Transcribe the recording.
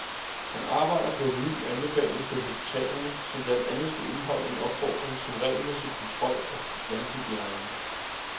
Han arbejder på en ny anbefaling til hospitalerne, som blandt andet skal indeholde en opfordring om regelmæssig kontrol af vandhygiejnen.